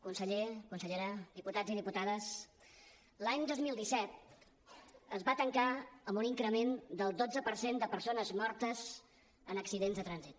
conseller consellera diputats i diputades l’any dos mil disset es va tancar amb un increment del dotze per cent de persones mortes en accidents de trànsit